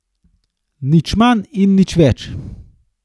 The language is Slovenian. Nič manj in nič več.